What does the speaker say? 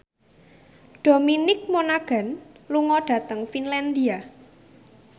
Dominic Monaghan lunga dhateng Finlandia